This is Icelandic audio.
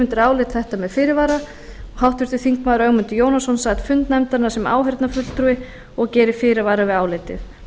undir álitið með fyrirvara ögmundur jónasson sat fund nefndarinnar sem áheyrnarfulltrúi og gerir fyrirvara við álitið